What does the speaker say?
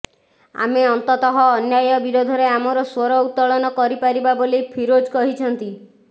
ଆମେ ଅନ୍ତତଃ ଅନ୍ୟାୟ ବିରୋଧରେ ଆମର ଶ୍ୱର ଉତ୍ତୋଳନ କରିପାରିବା ବୋଲି ଫିରୋଜ କହିଛନ୍ତି